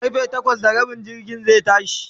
karfe takwas da Rabin dare jirgin zai tashi